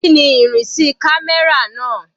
Kíni ìrìnsí camera náà?